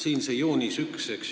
Siin on see joonis 1.